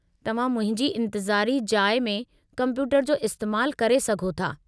तव्हां मुंहिंजी इंतिज़ारी जाइ में कम्पयूटर जो इस्तैमालु करे सघो था।